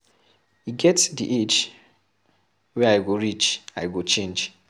E get dey age wey I go reach, I go change.